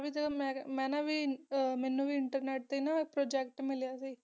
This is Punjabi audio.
ਮੇਂ ਜਿਦੂ ਨਾ ਮੇਨੂ ਵੇ internet ਬਰੀ project ਮਿਲਯਾ ਸੇ ਗਾ